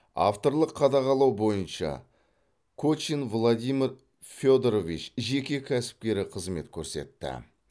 авторлық қадағалау бойынша кочин владимир федорович жеке кәсіпкері қызмет көрсетті